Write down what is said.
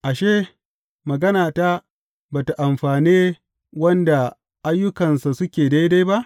Ashe, maganata ba tă amfane wanda ayyukansa suke daidai ba?